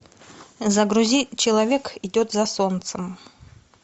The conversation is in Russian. загрузи человек идет за солнцем